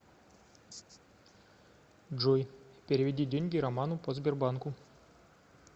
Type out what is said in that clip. джой переведи деньги роману по сбербанку